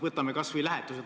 Võtame kas või lähetused.